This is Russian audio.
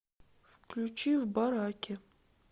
включи в бараке